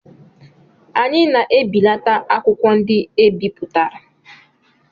Anyị na-ebelata akwụkwọ ndị e bipụtara.